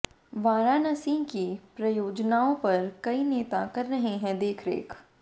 वाराणसी की परियोजनाओं पर कई नेता कर रहे हैं देखरेख